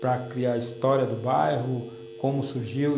para criar a história do bairro, como surgiu.